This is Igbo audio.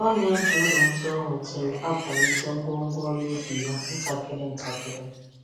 Ọ na-eji uru ndị o nwetara akwalite ngwongwo ọrụ ubi ya ntakịrị ntakịrị.